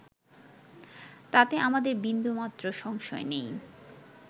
তাতে আমাদের বিন্দুমাত্র সংশয় নাই